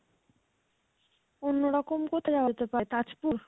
অন্যরকম কোথায় হতে পারে, তাজপুর?